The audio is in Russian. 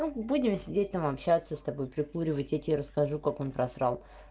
ну будем сидеть там общаться с тобой прикуривать я тебе расскажу как он потерял